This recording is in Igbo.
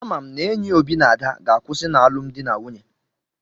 Ama m n'enyi Obi na Ada ga-akwụsị n'alụmdi na nwunye.